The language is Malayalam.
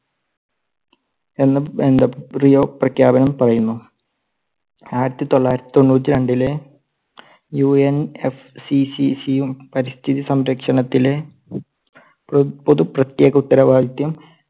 എന്നും പ്രഖ്യാപനം പറയുന്നു. ആയിരത്തി തൊള്ളായിരത്തി തൊണ്ണൂറ്റിരണ്ടിലെ UNFCCC യും പരിസ്ഥിതി സംരക്ഷണത്തിലെ പൊ~പൊതുപ്രത്യേക ഉത്തരവാദിത്യം